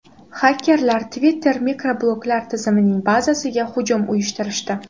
Xakerlar Twitter mikrobloglar tizimining bazasiga hujum uyushtirishdi.